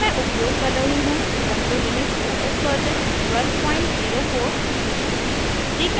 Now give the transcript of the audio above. यहाँ मैं उपयोग कर रही हूँ ubuntu लिनक्स os version 1204